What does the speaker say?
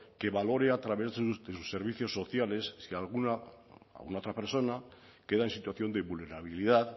que valore a través de sus servicios sociales si alguna otra persona queda en situación de vulnerabilidad